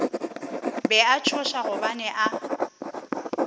be a tšhoša gobane a